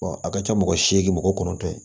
a ka ca mɔgɔ segin mɔgɔ kɔnɔntɔn ye